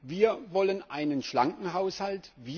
Wir wollen einen schlanken Haushalt.